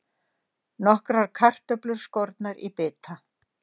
Nokkrar kartöflur skornar í bita.